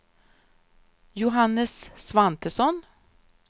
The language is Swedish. Johannes Svantesson